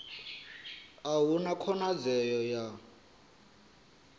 a hu na khonadzeo ya